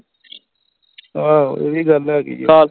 ਆਹੋ ਇਹ ਵੀ ਗੱਲ ਹੈਗੀ ਹੈ